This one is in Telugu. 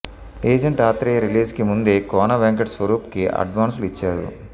ఏజెంట్ ఆత్రేయ రిలీజ్ కి ముందే కోన వెంకట్ స్వరూప్ కి అడ్వాన్సులు ఇచ్చారు